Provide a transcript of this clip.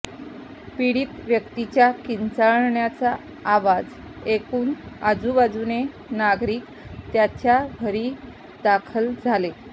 पीडित व्यक्तीच्या किंचाळण्याचा आवाज ऐकून आजुबाजुचे नागरिक त्याच्या घरी दाखल झाले